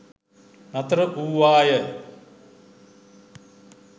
නතර වූ වාය